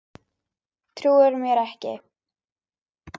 Trúirðu mér ekki?